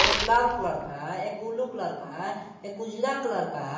एक लाल कलर का है एक ब्लू का उजला कलर का है।